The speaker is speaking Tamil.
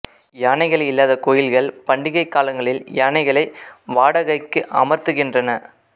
யானைகள் இல்லாத கோயில்கள் பண்டிகை காலங்களில் யானைகளை வாடகைக்கு அமர்த்துகிறன